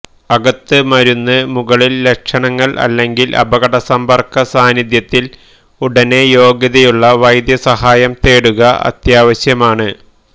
അകത്ത് മരുന്ന് മുകളിൽ ലക്ഷണങ്ങൾ അല്ലെങ്കിൽ അപകട സമ്പർക്ക സാന്നിദ്ധ്യത്തിൽ ഉടനെ യോഗ്യതയുള്ള വൈദ്യസഹായം തേടുക അത്യാവശ്യമാണ്